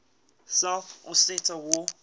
south ossetia war